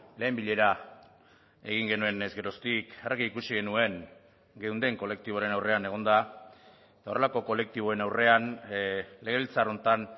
lehen bilera egin genuenez geroztik argi ikusi genuen geunden kolektiboaren aurrean egonda eta horrelako kolektiboen aurrean legebiltzar honetan